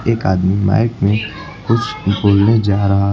एक आदमी माइक में कुछ बोलने जा रहा